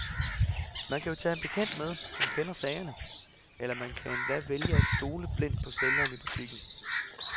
Man kan jo tage en bekendt med, som kender til sagerne, eller man kan endda vælge at stole blindt på sælgeren i butikken.